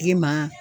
Giriman